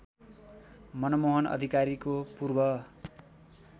मनमोहन अधिकारीको पूर्व